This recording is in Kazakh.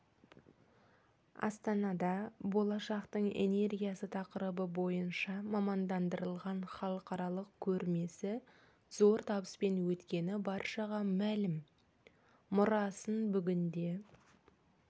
астанада болашақтың энергиясы тақырыбы бойынша мамандандырылған халықаралық көрмесі зор табыспен өткені баршаға мәлім мұрасын бүгінде